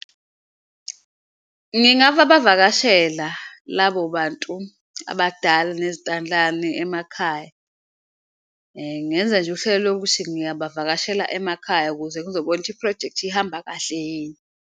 Ngingababavakashela labo bantu abadala nezintandlane emakhaya ngenza nje uhlelo lokuthi ngiyabavakashela emakhaya, ukuze ngizobona iphrojekthi ihamba kahle yini.